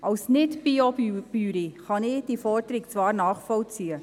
Als Nicht-Biobäuerin kann ich diese Forderung zwar nachvollziehen.